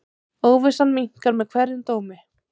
Óvissan minnkar með hverjum dómi.